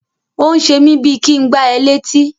Ó ń ṣe mí bíi kí ń gbá ẹ létí.